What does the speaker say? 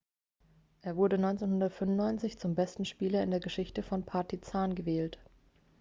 er wurde 1995 zum besten spieler in der geschichte von partizan gewählt